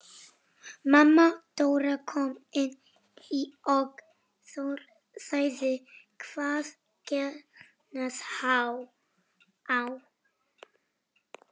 Mamma Dóra kom inn og spurði hvað gengi á.